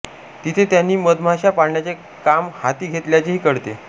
तिथे त्यांनी मधमाश्या पाळण्याचे काम हाती घेतल्याचेही कळते